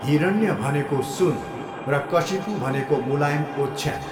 हिरण्य भनेको सुन र कशिपु भनेको मुलायम ओच्छ्यान।